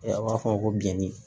A b'a fɔ ko bini